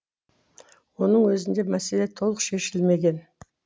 оның өзінде мәселе толық шешілмеген